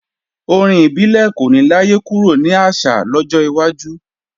Orin ibile kò ní láyé kúrò ní àṣà lọ́jọ́ iwájú